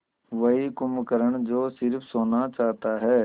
वही कुंभकर्ण जो स़िर्फ सोना चाहता है